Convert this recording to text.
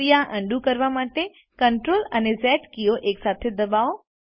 ક્રિયા અન્ડું કરવા માટે Ctrl અને ઝ કીઓ એકસાથે દબાવો